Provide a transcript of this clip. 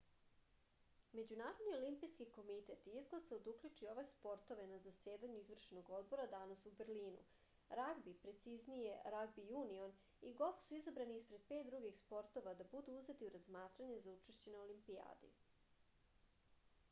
međunarodni olimpijski komitet je izglasao da uključi ove sportove na zasedanju izvršnog odbora danas u berlinu ragbi preciznije ragbi junion i golf su izabrani ispred pet drugih sportova da budu uzeti u razmatranje za učešće na olimpijadi